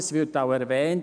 Das wird auch erwähnt.